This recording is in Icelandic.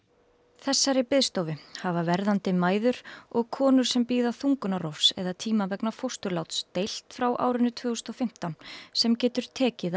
þessari biðstofu hafa verðandi mæður og konur sem bíða þungunarrofs eða tíma vegna fósturláts deilt frá árinu tvö þúsund og fimmtán sem getur tekið